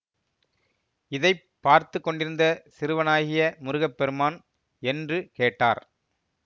இதை பார்த்து கொண்டிருந்த சிறுவனாகிய முருகப்பெருமான் என்று கேட்டார்